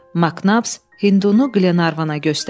MacNabs Hindunu Qlenarvana göstərdi.